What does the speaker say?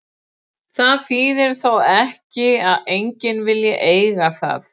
Það þýðir þó ekki að enginn vilji eiga það.